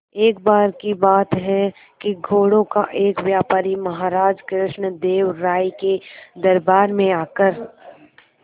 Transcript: एक बार की बात है कि घोड़ों का एक व्यापारी महाराज कृष्णदेव राय के दरबार में आकर